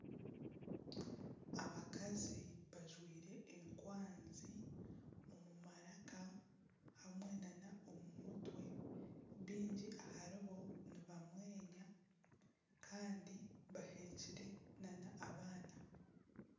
Abakazi bajwire enkwanzi omu maraka hamwe n'omu mutwe bingi aharibo nibamwenya Kandi bahekyire n'abaana.